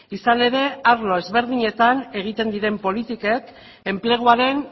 izan ere arlo ezberdinetan egiten diren politikek enpleguaren